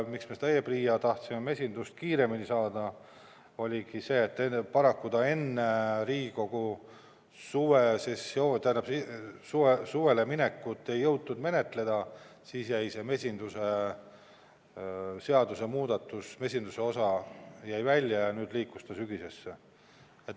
Miks me e-PRIA-sse tahtsime mesindust kiiremini saada, oligi see, et paraku kevadel, enne Riigikogu suvepuhkusele minekut ei jõutud seda menetleda ja siis jäi see mesinduse osa välja ning liikus sügisesse.